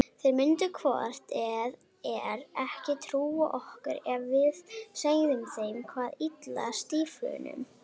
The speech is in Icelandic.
Þeir myndu hvort eð er ekki trúa okkur ef við segðum þeim hvað ylli stíflunum.